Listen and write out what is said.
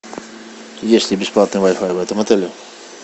есть ли бесплатный вай фай в этом отеле